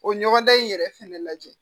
O ɲɔgɔndan in yɛrɛ fɛnɛ lajɛ